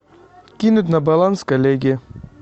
кинуть на баланс коллеге